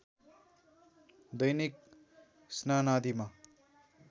दैनिक स्नानादिमा